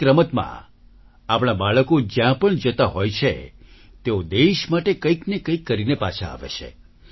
દરેક રમતમાં આપણા બાળકો જ્યાં પણ જતા હોય છે તેઓ દેશ માટે કંઈકને કંઈક કરીને પાછા આવે છે